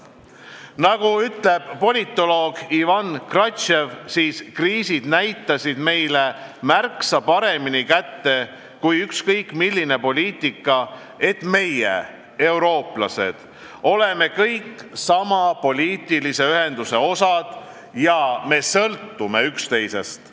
" Nagu on öelnud politoloog Ivan Krastev, kriisid näitasid meile märksa paremini kätte kui ükskõik milline poliitika, et meie, eurooplased, oleme kõik sama poliitilise ühenduse osad ja sõltume üksteisest.